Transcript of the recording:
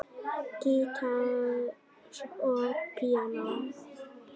Gítar og píanó.